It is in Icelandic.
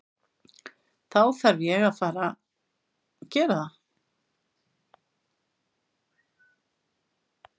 Þá þarf ég að fara gera það.